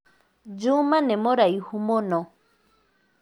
Juma nĩmũraĩhũ mũno.